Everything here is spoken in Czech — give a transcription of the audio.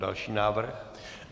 Další návrh.